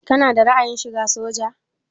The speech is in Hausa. Kana da ra'ayin shiga soja?